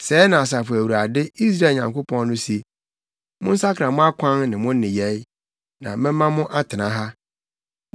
Sɛɛ na Asafo Awurade, Israel Nyankopɔn no se: Monsakra mo akwan ne mo nneyɛe, na mɛma mo atena ha.